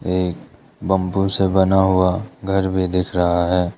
ये बेम्बू से बना हुआ घर भी दिख रहा है।